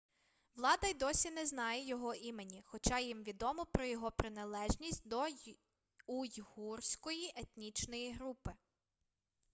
влада й досі не знає його імені хоча їм відомо про його приналежність до уйгурської етнічної групи